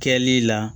Kɛli la